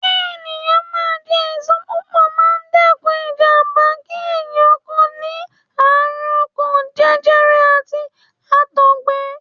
Kí ẹ̀yàn máa jẹ èso púpọ̀ máa ń dẹ́kun ìjàmbá kí ẹ̀yàn kó ní àrùn ọkàn, jẹjẹrẹ, àti Àtọ̀gbẹ.